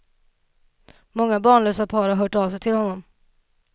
Många barnlösa par har hört av sig till honom.